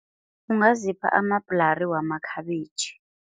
Ungazipha amabhrali wamakhabitjhi.